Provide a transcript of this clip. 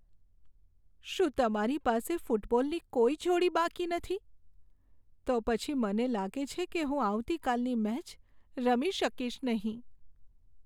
શું તમારી પાસે ફૂટબોલની કોઈ જોડી બાકી નથી? તો પછી મને લાગે છે કે હું આવતીકાલની મેચ રમી શકીશ નહીં.